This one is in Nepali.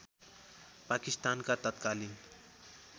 पाकिस्तानका तत्कालीन